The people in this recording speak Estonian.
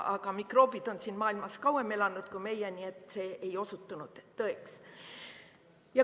Aga mikroobid on maailmas kauem elanud kui meie, nii et see ei osutunud tõeks.